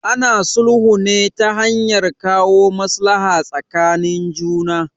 Ana sulhu ne ta hanyar kawo maslaha tsakanin juna.